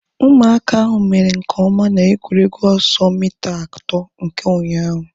Ụmụaka ahu mere nke ọma na egwuregwu ọsọ mita atọ nke ụnyaahụ